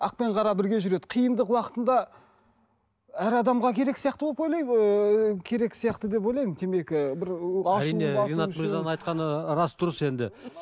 ақ пен қара бірге жүреді қиындық уақытында әр адамға керек сияқты деп ойлаймын ыыы керек сияқты деп ойлаймын темекі